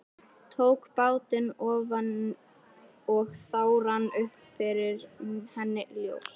Tók bátinn ofan og þá rann upp fyrir henni ljós.